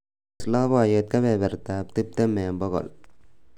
tees loboyet kebebertab tiptem eng bogol